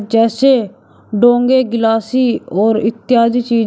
जैसे डोंगे गिलासी और इत्यादि चीज।